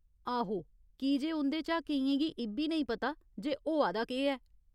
आहो, कीजे उं'दे चा केइयें गी इ'ब्बी नेईं पता जे होआ दा केह् ऐ।